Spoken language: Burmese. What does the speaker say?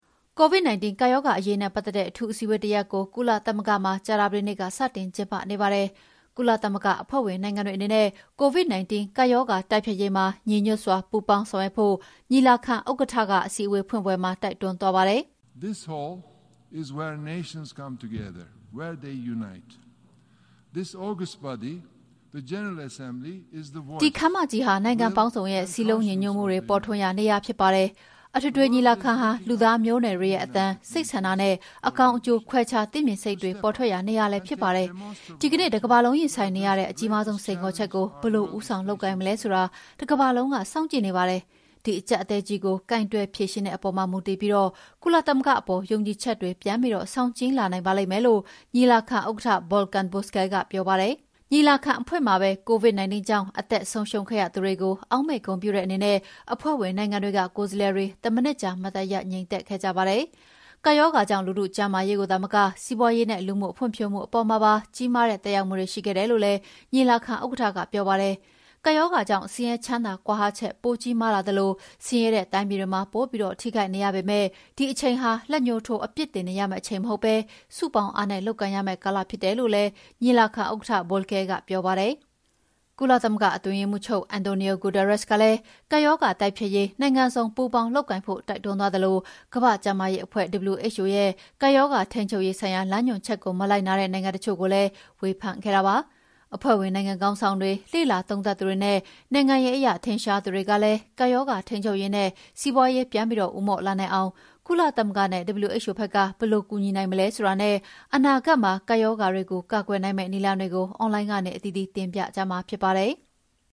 COVID-19 ကပ်ရောဂါအရေးနဲ့ ပတ်သက်တဲ့ အထူးအစည်းအဝေးတရပ်ကို ကုလသမဂ္ဂမှာ ကြာသပတေးနေ့က စတင်ကျင်းပါနေပါတယ်။ ကုလသမဂ္ဂအဖွဲ့ဝင်နိုင်ငံတွေအနေနဲ့ COVID-19 ကပ်ရောဂါတိုက်ဖျက်ရေးမှာ ညီညွှတ်စွာ ပူးပေါင်းဆောင်ရွက်ဖို့ ညီလာခံဥက္ကဋ္ဌက အစည်းအဝေးဖွင့်ပွဲမှာ တိုက်တွန်းသွားပါတယ်။ "ဒီခန်းမကြီးဟာ နိုင်ငံပေါင်းစုံရဲ့ စည်းလုံးညီညွှတ်မှုပေါ်ထွန်းရာနေရာဖြစ်ပါတယ်။ အထွေထွေညီလာခံဟာ လူသားမျိုးနွယ်တွေရဲ့ အသံ၊ စိတ်ဆန္ဒနဲ့ အကောင်းအကျိုး ခွဲခြားသိမြင်စိတ်တွေပေါ်ထွက်ရာနေရာလည်းဖြစ်ပါတယ်။ ဒီကနေ့ တကမ္ဘာလုံးရင်ဆိုင်နေရတဲ့ အကြီးမားဆုံးစိန်ခေါ်ချက်ကို ဘယ်လိုဦးဆောင်လုပ်ကိုင်မလဲဆိုတာ တကမ္ဘာလုံးကစောင့်ကြည့်နေပါတယ်။ ဒီအကြပ်အတည်းကြီးကို ကိုင်တယ်ဖြေရှင်းတဲ့အပေါ်မူတည်ပြီး ကုလသမဂ္ဂအပေါ် ယုံကြည်ချက်တွေပြန်ပြီးဆောင်ကြည်းလာနိုင်ပါလိမ့်မယ်။" လု့ိ ညီလာခံဥက္ကဋ္ဌ Volkan Bozkir ကပြောပါတယ်။ ညီလာခံအဖွင့်မှာပဲ COVID-19 ကြောင့် အသက်ဆုံးရှုံးခဲ့ရသူတွေကိုအောက်မေ့ဂုဏ်ပြုတဲ့အနေနဲ့ အဖွဲ့ဝင်နိုင်ငံတွေက ကိုယ်စားလှယ်တွေ တမိနစ်ကြာ မတ်တပ်ရပ် ငြိမ်သက်ခဲ့ကြပါတယ်။ ကပ်ရောဂါကြောင့် လူထုကျန်းမာရေးကိုသာမက စီးပွါးရေးနဲ့လူမှုဖွံ့ဖြိုးမှုအပေါ်မှာပါ ကြီးမားတဲ့ သက်ရောက်မှုတွေ ရှိခဲ့တယ်လို့လည်း ညီလာခံဥက္ကဋ္ဌကပြောပါတယ်။ ကပ်ရောဂါကြောင့် ဆင်းရဲချမ်းသာ ကွာဟချက်ပိုကြီးမားလာသလို ဆင်းရဲတဲ့တိုင်းပြည်တွေမှာ ပိုပြီးထိခိုက်နေရပေမယ့် ဒီအချိန်ဟာ လက်ညှိုးထိုးအပြစ်တင်နေရမယ့်အချိန်မဟုတ်ဘဲ စုပေါင်းအားနဲ့ လုပ်ကိုင်ရမယ့်ကာလဖြစ်တယ်လို့လည်း ညီလာခံဥက္ကဋ္ဌ Bozkir ကပြောပါတယ်။ ကုလအတွင်းရေးမှူးချုပ် Antonio Guterres ကလည်း ကပ်ရောဂါတိုက်ဖျက်ရေး နိုင်ငံစုံ ပူးပေါင်းလုပ်ကိုင်ဖို့တိုက်တွန်းသွားသလို ကမ္ဘာ့ကျန်းမာရေးအဖွဲ့ (WHO) ရဲ့ ကပ်ရောဂါထိန်းချုပ်ရေးဆိုင်ရာ လမ်းညွှန်ချက်ကို မလိုက်နာတဲ့နိုင်ငံတချို့ကိုလည်း ဝေဖန်ခဲ့တာပါ။ အဖွဲ့ဝင်နိုင်ငံခေါင်းဆောင်တွေ၊ လေ့လာသုံးသပ်သူတွေနဲ့ နိုင်ငံရေးအရထင်ရှားသူတွေကလည်း ကပ်ရောဂါထိန်းချုပ်ရေးနဲ့ စီးပွါးရေးပြန်ဦးမော့လာနိုင်အောင် ကုလသမဂ္ဂနဲ့ WHO ဘက်က ဘယ်လိုကူညီနိုင်မလဲဆိုတာနဲ့ အနာဂတ်မှာ ကပ်ရောဂါတွေကို ကာကွယ်နိုင်မယ့်နည်းလမ်းတွေကို အွန်လိုင်းကနေ အသီးသီးတင်ပြကြမှာဖြစ်ပါတယ်။